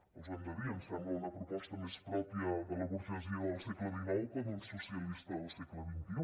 els ho hem de dir ens sembla una proposta més pròpia de la burgesia del segle xix que d’un socialista del segle xxi